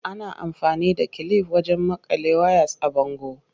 Ana amfani da kilif wajen maƙale ways a bango.